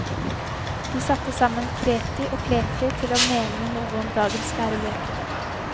De satte sammen kreti og pleti til å mene noe om dagens lærebøker.